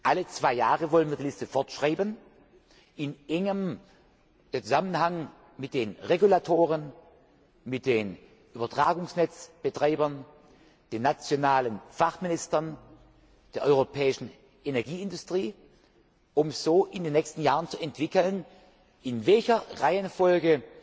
Alle zwei Jahre wollen wir die Liste fortschreiben, in enger Zusammenarbeit mit den Regulatoren, mit den Übertragungsnetzbetreibern, den nationalen Fachministern, der europäischen Energieindustrie, um so in den nächsten Jahren zu ermitteln, in welcher Reihenfolge